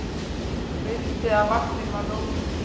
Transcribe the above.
Mildi að vaktin var róleg